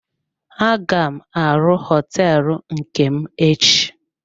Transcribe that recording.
Aga m arụ hoteelu nke m echi.